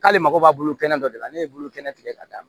K'ale mago b'a bolo kɛnɛ dɔ de la ne ye bolo kɛnɛ k'a d'a ma